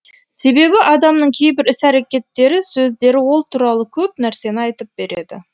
себебі адамның кейбір іс әрекеттері сөздері ол туралы көп нәрсені айтып береді